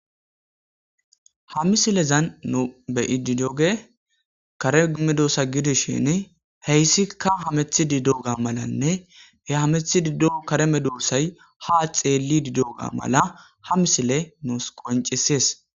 ha misilezan nu be'idi doge karemedosa gidishin heyssikka hamethi diddo ga malanne he hamethi diddo kareme doossay ha xeelli diddoga mala ha misile nus qoncisees